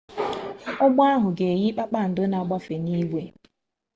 ụgbọ ahụ ga eyi kpakpando na-agbafe n'ihu igwe